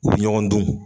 U bɛ ɲɔgɔn dun